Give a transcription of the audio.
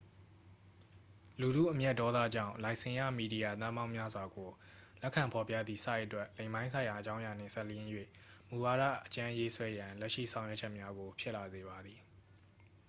လူထုအမျက်ဒေါသကြောင့် လိုင်စင်ရ မီဒီယာ သန်းပေါင်းများစွာကို လက်ခံဖော်ပြသည့် ဆိုက်အတွက် လိင်ပိုင်းဆိုင်ရာ အကြောင်းအရာနှင့် စပ်လျဉ်း၍ မူဝါဒ အကြမ်းရေးဆွဲရန် လက်ရှိ လုပ်ဆောင်ချက်များကို ဖြစ်လာစေပါသည်